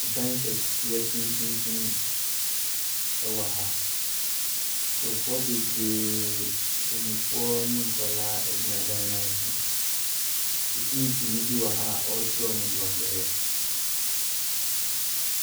Market a wɔtɔn adeɛ wɔ ha. Wɔahyehyɛ nneɛma bebree agu fam. Unbrellas sisi ha a nkurɔfoɔ tɔn nneɛma wɔ aseɛ. Nnipa redi akɔnneaba. Ɛbinom retɔ adeɛ.